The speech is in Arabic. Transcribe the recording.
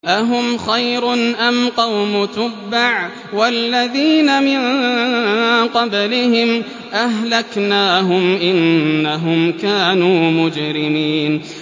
أَهُمْ خَيْرٌ أَمْ قَوْمُ تُبَّعٍ وَالَّذِينَ مِن قَبْلِهِمْ ۚ أَهْلَكْنَاهُمْ ۖ إِنَّهُمْ كَانُوا مُجْرِمِينَ